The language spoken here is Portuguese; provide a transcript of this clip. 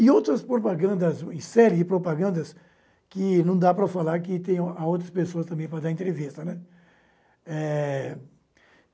E outras propagandas, séries de propagandas que não dá para falar que tem a outras pessoas também para dar entrevista, né? É